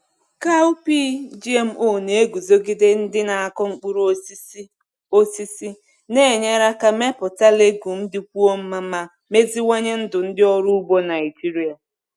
Cowpea GMO na-eguzogide ndị na-akụ mkpụrụ osisi, osisi, na-enyere ka mmepụta legume dịkwuo mma ma meziwanye ndụ ndị ọrụ ugbo Naijiria.